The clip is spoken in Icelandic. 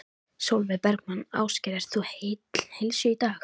Sólveig Bergmann: Ásgeir, ert þú heill heilsu í dag?